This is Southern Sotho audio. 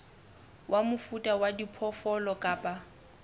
wa mofuta wa diphoofolo kapa